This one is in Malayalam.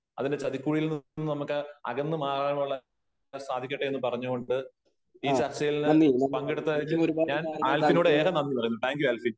അതിന്റെ ചതിക്കുഴിയില് നിന്നു നമുക്ക് അകന്ന് മാറാനുള്ള സാധിക്കട്ടെ എന്ന് പറഞ്ഞു കൊണ്ട് ഈ ചർച്ചയില് പങ്കെടുത്തതിന് ഞാൻ ആൽഫിനോട് ഏറെ നന്ദി പറയുന്നു. Thank you Alfin Alfin .